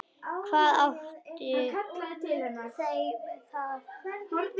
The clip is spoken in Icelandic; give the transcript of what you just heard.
Hvað áttu þær með það?